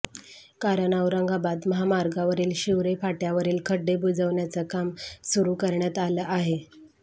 कारण औरंगाबाद महामार्गावरील शिवरे फाट्यावरील खड्डे बुजवण्याचं काम सुरू करण्यात आलं आहे